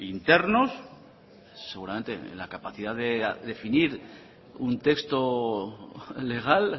internos seguramente la capacidad de definir un texto legal